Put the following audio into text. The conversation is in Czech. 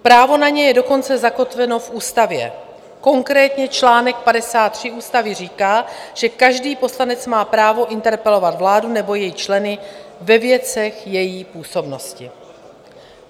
Právo na ně je dokonce zakotveno v ústavě, konkrétně čl. 53 ústavy říká, že každý poslanec má právo interpelovat vládu nebo její členy ve věcech její působnosti.